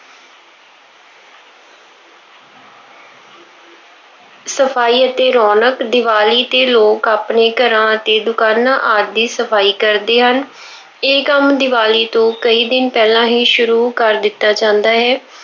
ਸਫਾਈ ਅਤੇ ਰੌਣਕ- ਦੀਵਾਲੀ ਤੇ ਲੋਕ ਆਪਣੇ ਘਰਾਂ ਅਤੇ ਦੁਕਾਨਾਂ ਆਦਿ ਦੀ ਸਫਾਈ ਕਰਦੇ ਹਨ। ਇਹ ਕੰਮ ਦੀਵਾਲੀ ਤੋਂ ਕਈ ਦਿਨ ਪਹਿਲਾਂ ਹੀ ਸ਼ੁਰੂ ਕਰ ਦਿੱਤਾ ਜਾਂਦਾ ਹੈ।